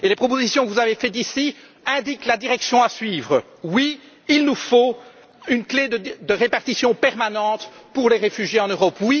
Les propositions que vous avez faites ici indiquent la direction à suivre oui, il nous faut une clé de répartition permanente pour les réfugiés en Europe.